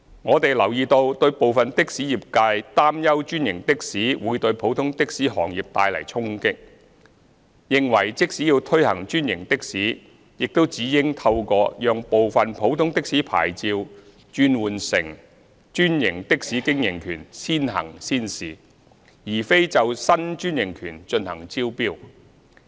我們留意到部分的士業界擔憂專營的士會對普通的士行業帶來衝擊，認為即使要推行專營的士，亦只應透過讓部分普通的士牌照轉換成專營的士經營權先行先試，而非就新專營權進行招標。